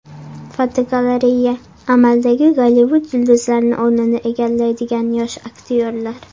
Fotogalereya: Amaldagi Gollivud yulduzlarining o‘rnini egallaydigan yosh aktyorlar.